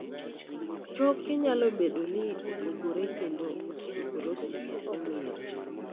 Choke nyalo bedo ni opogore kendo osteoporosis ok ong'ere.